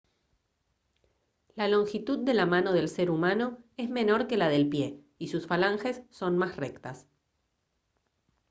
la longitud de la mano del ser humano es menor que la del pie y sus falanges son más rectas